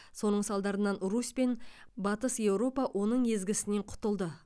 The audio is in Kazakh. соның салдарынан русь пен батыс еуропа оның езгісінен құтылды